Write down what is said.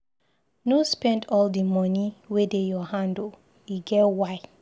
No spend all di moni wey dey your hand o, e get why.